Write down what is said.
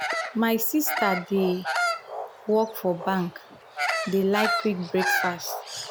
my sista wey dey work for bank dey like quick breakfast.